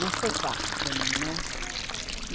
Não foi fácil para mim, né? Como é que foi a sua...